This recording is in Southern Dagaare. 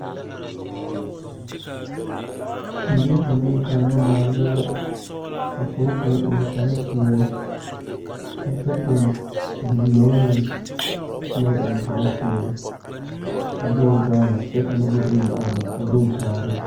Zie ba naŋ kaara baalba la ka pɔɔ kaŋ eŋ kparepeɛle a kyɛ pɔne bilɛɛ meŋ naŋ eŋ kparepeɛle a de o gaale kyɛ ka nobɔ bayi aroo puoriŋ kaaroo.